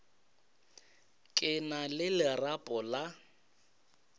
ke na le lerapo la